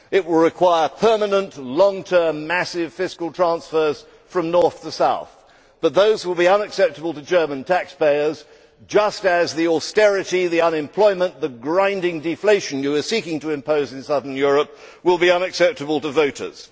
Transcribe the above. It will require permanent long term massive fiscal transfers from North to South, but those will be unacceptable to German taxpayers, just as the austerity, the unemployment, the grinding deflation you are seeking to impose in southern Europe will be unacceptable to voters.